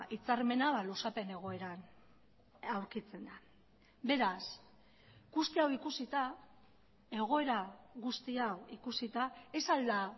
hitzarmena luzapen egoeran aurkitzen da beraz guzti hau ikusita egoera guzti hau ikusita ez al da